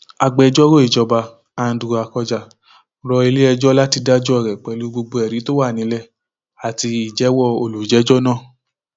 agbẹjọrò ìjọba andrew akọjá rọ iléẹjọ láti dájọ rẹ pẹlú gbogbo ẹrí tó wà nílẹ àti ìjẹwọ olùjẹjọ náà